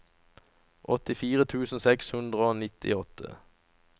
åttifire tusen seks hundre og nittiåtte